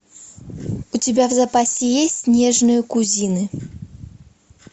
у тебя в запасе есть нежные кузины